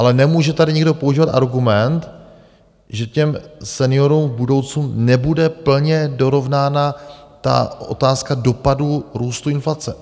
Ale nemůže tady nikdo používat argument, že těm seniorům v budoucnu nebude plně dorovnána ta otázka dopadu růstu inflace.